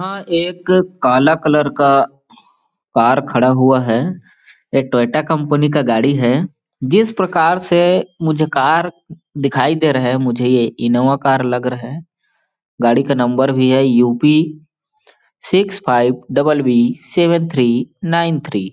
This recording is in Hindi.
हाँ एक काला कलर का का कार खड़ा हुआ है एक टोयोटा कंपनी का गाड़ी है जिस प्रकार से मुझे कार दिखाई दे रहे है मुझे ये इनोवा कार लग रहे है गाड़ी का नंबर भी है UP six five double B seven three nine three --